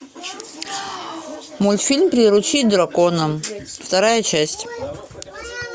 мультфильм приручить дракона вторая часть